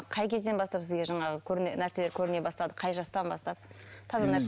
қай кезден бастап сізге жаңағы нәрселер көріне бастады қай жастан бастап